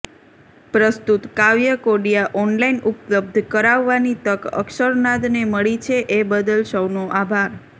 પ્રસ્તુત કાવ્યકોડિયાં ઓનલાઈન ઉપલબ્ધ કરાવવાની તક અક્ષરનાદને મળી છે એ બદલ સૌનો આભાર